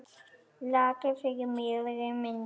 Laki fyrir miðri mynd.